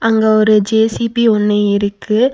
இங்க ஒரு ஜே_சி_பி ஒண்ணு இருக்கு.